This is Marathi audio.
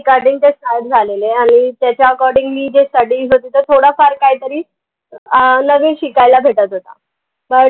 झालेले आहे आनि त्याच्या accordingly जे studies होते तो थोडा फार काही तरी अं नवीन शिकायला भेटत होता